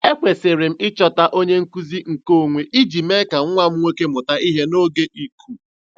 Ekwesịrị m ịchọta onye nkuzi nkeonwe iji mee ka nwa m nwoke mụta ihe n'oge iku.